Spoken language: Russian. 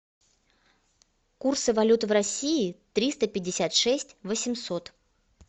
курсы валют в россии триста пятьдесят шесть восемьсот